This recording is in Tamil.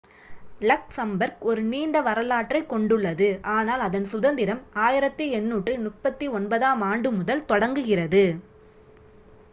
லக்சம்பர்க் ஒரு நீண்ட வரலாற்றைக் கொண்டுள்ளது ஆனால் அதன் சுதந்திரம் 1839-ஆம் ஆண்டு முதல் தொடங்குகிறது